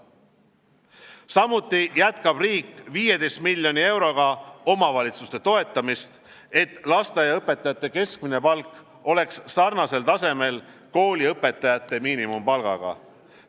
Samuti jätkab riik 15 miljoni euroga omavalitsuste toetamist, et lasteaiaõpetajate keskmine palk oleks sarnasel tasemel kooliõpetajate miinimumpalgaga.